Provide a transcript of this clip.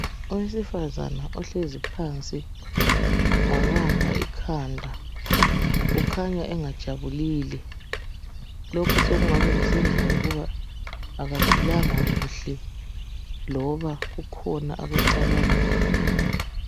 Owsifazana ohlezi phansi wabamba ikhanda ukhanya engajabulile, lokhu sekungaba kusenziwa yikuba akaphilanga kuhle loba kukhona akucabangayo.